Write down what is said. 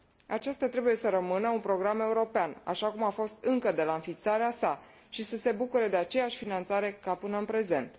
Acesta trebuie să rămână un program european, așa cum a fost încă de la înființarea sa și să se bucure de aceeași finanțare ca până în prezent.